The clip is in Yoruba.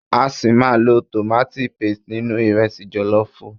A ṣi máa lo tomati paste nínú ìrẹsi jọ̀lọ́fùú.